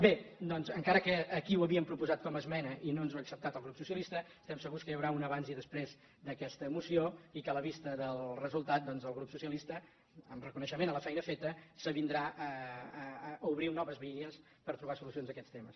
bé doncs encara que aquí ho havíem proposat com a esmena i no ens ho ha acceptat el grup socialista estem segurs que hi haurà un abans i després d’aquesta moció i que a la vista del resultat el grup socialista en reconeixement a la feina feta s’avindrà a obrir noves vies per trobar solucions a aquests temes